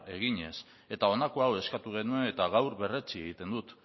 eginez eta honako hau eskatu genuen eta gaur berretsi egiten dut